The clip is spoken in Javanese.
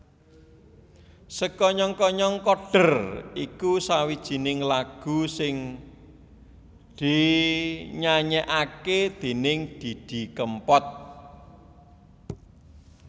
Sekonyong konyong koder iku sawijining lagu sing dinyanyèkaké déning Didi Kempot